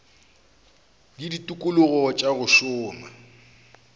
le ditikologo tša go šoma